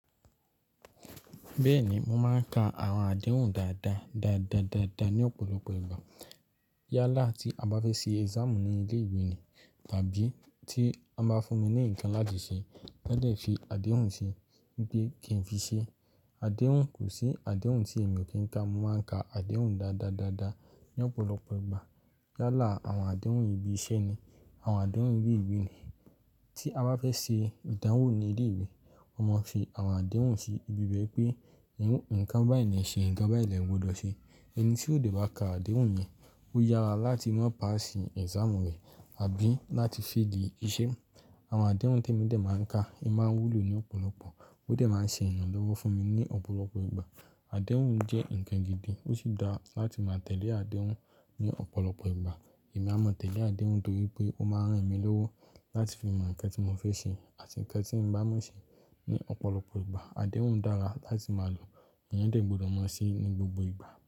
Bẹ́ẹ̀ ni, mo máa ń ka àwọn àdéhùn dáadáa, dáadáa, dáadáa ní ọ̀pọ̀lọpọ̀ ìgbà. Yálà tí a bá fẹ́ ṣe exam ní ilé ìwé ni. Tàbí tí wọ́n bá fún mi ní ǹkan láti ṣe, tán dè fi àdéhùn sí i pé kí n fi ṣe. Àdéhùn kò sí, àdéhùn tí èmi ò kí ń ka, mo máa ń ka àdéhùn dáadáa, dáadáa ní ọ̀pọ̀lọpọ̀ ìgbà. Yálà àwọn àdéhùn ibi iṣẹ́ ni, àwọn àdéhùn ibi ìwé ni. Tí a bá fẹ́ ṣe ìdánwò ní ilé ìwé, wọ́n máa fi àwọn àdéhùn sí ibi bẹ́ẹ̀ pé ǹkan báyìí ni e ṣe ǹkan báyìí lẹ́gbọdọ̀ ṣe. Ẹni tí òde wa ka àdéhùn yẹn, ó yára láti má pass exam rẹ̀ àbí láti fail iṣẹ́. Àwọn àdéhùn témo dẹ̀ máa ń ka, i máa ń wúlò ní ọ̀pọ̀lọpọ̀. Ó dẹ̀ máa ń ṣe ìrànlọ́wọ́ fún mi ní ọ̀pọ̀lọpọ̀ ìgbà. Àdéhùn jẹ́ ǹkan gidi, ó sì dára láti máa tẹ̀lé àdéhùn ní ọ̀pọ̀lọpọ̀ ìgbà. Èmi a máa tẹ̀lé àdéhùn torí pé ó máa ń ràn mí lọ́wọ́ láti fi mọ ǹkan tí mo fẹ́ ṣe àti ǹkan tí ń bá mọ́ ṣe ní ọ̀pọ̀lọpọ̀ ìgbà. Àdéhùn dára láti máa lò, èèyàn dẹ̀ gbọdọ̀ máa ṣeé ní gbogbo ìgbà.